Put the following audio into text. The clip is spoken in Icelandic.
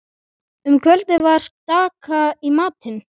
Um kvöldið var skata í matinn.